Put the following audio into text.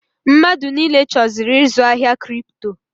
Mmadụ niile chọziri ịzụ ahịa Kripto.